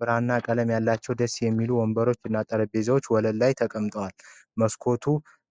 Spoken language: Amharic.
ብራና ቀለም ያላቸው ደስ የሚሉ ወንበሮች እና ጠረጴዛ ወለል ላይ ተቀምጠዋል ። መስኮቱ